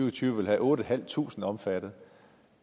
og tyve ville have otte tusind omfattet